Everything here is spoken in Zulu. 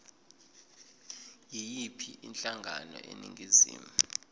yiyiphi inhlangano eningizimu